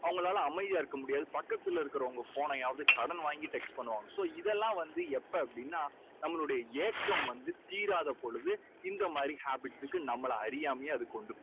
அவங்களால அமைதியா இருக்க முடியாது. பக்கத்துல இருக்கறவங்க phone னையாவது கடன் வாங்கி text பண்ணுவாங்க. so இதெல்லாம் வந்து எப்போ அப்படின்னா நம்மளுடைய ஏக்கம் வந்து தீராத பொழுது இந்த மாதிரி habits க்கு நம்மளை அறியாமலே அது கொண்டு போகும்.